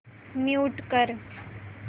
mute कर